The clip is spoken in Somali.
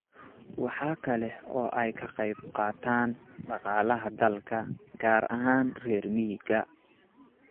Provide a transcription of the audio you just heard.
Waxa kale oo ay ka qayb qaataan dhaqaalaha dalka, gaar ahaan reer miyiga.